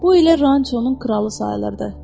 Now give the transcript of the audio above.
Bu elə Ranchonun kralı sayılırdı.